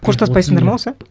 қоштаспайсыңдар ма осы